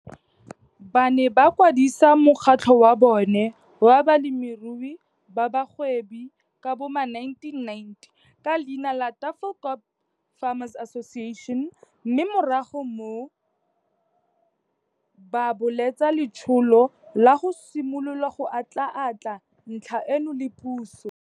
Ba ne ba kwadisa mokgatlho wa bona wa balemirui ba bagwebi ka bo ma1990 ka leina la Tafelkop Farmers Association mme morago ba bolotsa letsholo la go simolola go atlhaatlha ntlha eno le puso.